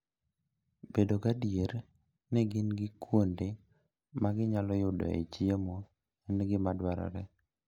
Bedo gadier ni gin gi kuonde ma ginyalo yudoe chiemo en gima dwarore.